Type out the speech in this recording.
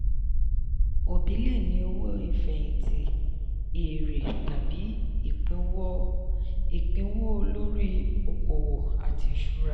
òbí lè ní owó ìfẹ̀yìntì èèrè tàbí ìpínwó lórí okòwò àti ìṣúra.